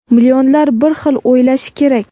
millionlar bir xil o‘ylashi kerak.